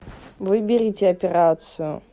выберите операцию